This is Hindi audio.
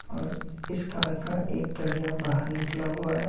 और इस कार का एक पहिया बाहर निकला हुआ है।